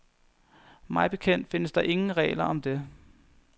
Mig bekendt findes der ingen regler om det.